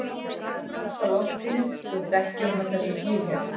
Ég er að tappa loftinu úr dekkjunum á þessum bíl hérna.